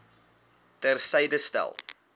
ter syde stel